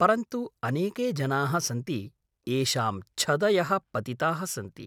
परन्तु अनेके जनाः सन्ति येषां छदयः पतिताः सन्ति।